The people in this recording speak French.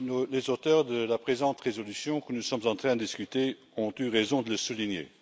Les auteurs de la présente résolution dont nous sommes en train de discuter ont eu raison de le souligner.